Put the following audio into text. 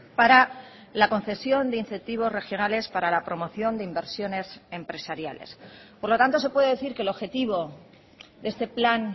para la concesión de incentivos regionales para la promoción de inversiones empresariales por lo tanto se puede decir que el objetivo de este plan